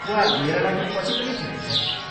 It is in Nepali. वा मेरा लागि पछि पनि ठिकै छ।